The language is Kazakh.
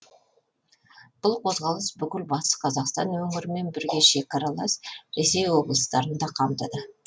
бұл қозғалыс бүкіл батыс қазақстан өңірімен бірге шекаралас ресей облыстарын да қамтыды